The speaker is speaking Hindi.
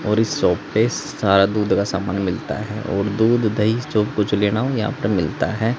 इस शॉप पे सारा दूध का सामान मिलता है और दूध दही जो कुछ भी लेना हो यहां पे मिलता है।